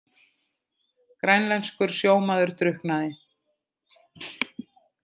Grænlenskur sjómaður drukknaði